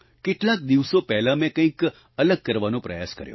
કેટલાક દિવસો પહેલા મેં કંઈક અલગ કરવાનો પ્રયાસ કર્યો